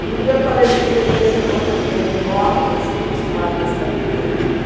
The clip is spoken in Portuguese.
Quando me deparei no Tietê, assim, aquela coisa grande, enorme, assim, acostumada em uma cidade pequena.